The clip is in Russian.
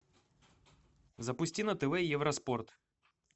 запусти на тв евроспорт